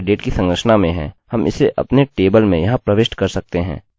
अंतिम gender है और चूंकि मैं पुरुष हूँमैं पुरुष के लिए m रख रहा हूँ